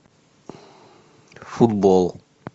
футбол